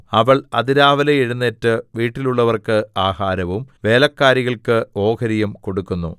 അവൾ അതിരാവിലെ എഴുന്നേറ്റ് വീട്ടിലുള്ളവർക്ക് ആഹാരവും വേലക്കാരികൾക്ക് ഓഹരിയും കൊടുക്കുന്നു